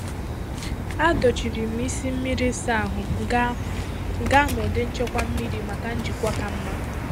Adochiri m isi mmiri ịsa ahụ gaa gaa na ụdị nchekwa mmiri maka njikwa ka mma.